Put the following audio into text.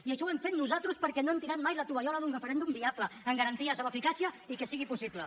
i això ho hem fet nosaltres perquè no hem tirat mai la tovallola d’un referèndum viable amb garanties amb eficàcia i que sigui possible